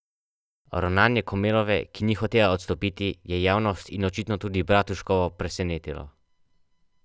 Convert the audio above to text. Ravnanje Komelove, ki ni hotela odstopiti, je javnost in očitno tudi Bratuškovo presenetilo.